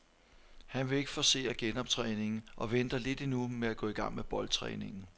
Han vil ikke forcere genoptræningen og venter lidt endnu med at gå i gang med boldtræningen.